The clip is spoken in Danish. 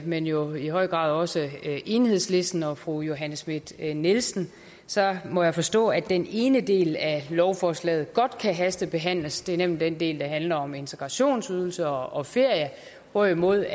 men jo i høj grad også til enhedslisten og fru johanne schmidt nielsen så må jeg forstå at den ene del af lovforslaget godt kan hastebehandles nemlig den del der handler om integrationsydelse og ferie hvorimod